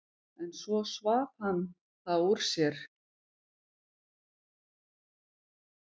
En svo svaf hann það úr sér.